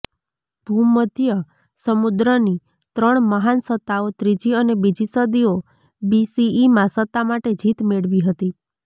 ભૂમધ્ય સમુદ્રની ત્રણ મહાન સત્તાઓ ત્રીજી અને બીજી સદીઓ બીસીઇમાં સત્તા માટે જીત મેળવી હતી